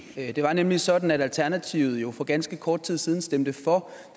det var nemlig sådan at alternativet jo for ganske kort tid siden stemte for